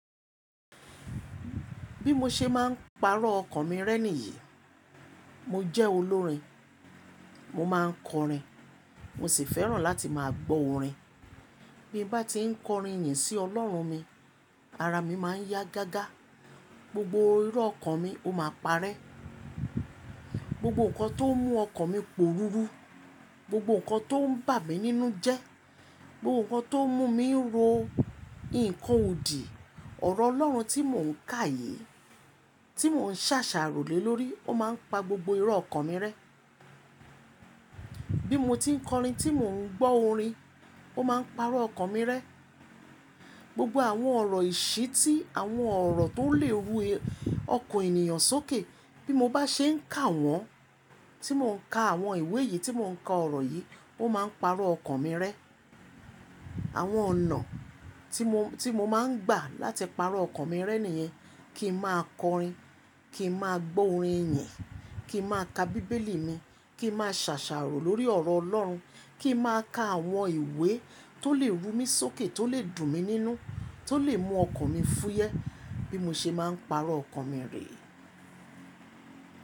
Bí mo ṣe máa ń pàrọ̀ ọkàn mi rẹ́'ni yìí, mo jẹ́ olórin, mo máa ń kọrin, mo sì fẹ́ràn láti máa gbọ́ orin. Bí mo bá ti ń kọrin ní sí Ọlọ́run mi, ara mi máa ń yá gágá, gbogbo irọ́ ọkàn mi ó máa parẹ́. Gbogbo nǹkan tó ń mú ọkàn mi pòru ru, gbogbo nǹkan tó ń bà mí nínú jẹ, gbogbo nǹkan tó ń mú mi ń ro ìkó odi, ọ̀rọ̀ Ọlọ́run tí mò ń ká yìí, tí mò ń ṣàṣàrò lé lórí ó máa ń pa gbogbo irọ́ ọkàn mi rẹ́. Bí mo ti ń kọrin tí mò ń gbọ́ orin, ó máa ń pàrọ̀ ọkàn mi rẹ́. Gbogbo àwọn ọ̀rọ̀ ìṣí tí àwọn ọ̀rọ̀ tó lè rú ọkàn ènìyàn sókè, bí mo bá ṣe ń kà wọ́n, tí mò ń ka àwọn ìwé yìí, tí mò ń ka ọ̀rọ̀ yìí ó máa ń pàrọ̀ ọkàn mi rẹ́. Àwọn ọ̀nà tí mo, tí mo máa ń gbà láti pàrọ̀ ọkàn mi rẹ́ níyẹn. Kí màá kọrin, kí màá gbọ́ orin ìyìn, kí màá ka bíbélì mi, kí màá ṣàṣàrò lórí ọ̀rọ̀ Ọlọ́run, kí màá ka àwọn ìwé tó lè rú mi sókè, tó lè dùn mí nínú, tó lè mú ọkàn mi fúyẹ́ bí mo ṣe máa ń pàrọ̀ ọkàn mi rè é.